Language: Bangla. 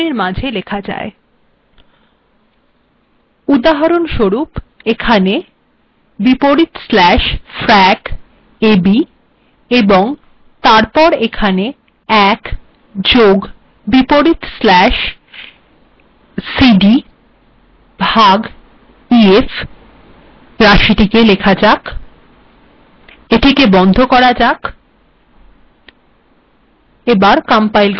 উদাহরণস্বরূপ \frac a b এবং তারপর এখােন ১ +\frac cd ভাগ ef লেখা যাক এিটেক বন্ধ করা যাক